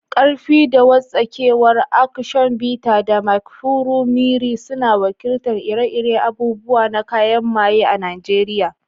Ƙarfi da wartsakewa, Aktion Bita da Mkpuru Mmiri, suna wakiltar ire-iren abubuwan na kayan maaye a Najeriya.